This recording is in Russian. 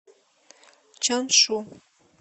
чаншу